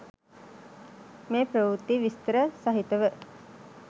මේ ප්‍රවෘත්තිය විස්තර සහිතව